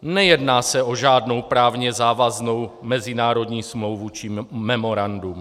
Nejedná se o žádnou právně závaznou mezinárodní smlouvu či memorandum.